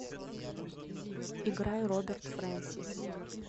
играй роберт фрэнсис